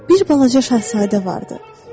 Bir balaca şahzadə vardı.